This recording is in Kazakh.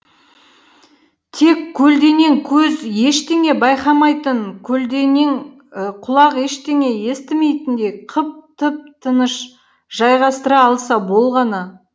тек көлденең көз ештеңе байқамайтын көлденең құлақ ештеңе естімейтіндей қып тып тыныш жайғастыра алса болғаны